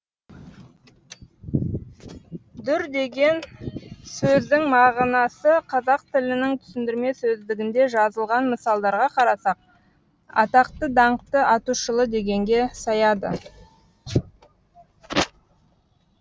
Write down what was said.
дүр деген сөздің мағынасы қазақ тілінің түсіндірме сөздігінде жазылған мысалдарға қарасақ атақты даңқты аты шулы дегенге саяды